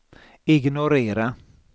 ignorera